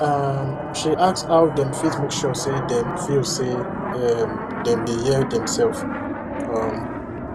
um she ask how dem fit make sure say dem feel say um dem dey hear demselves um